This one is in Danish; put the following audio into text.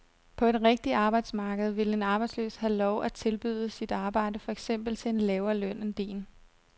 På et rigtigt arbejdsmarked ville en arbejdsløs have lov at tilbyde sit arbejde for eksempel til en lavere løn end din.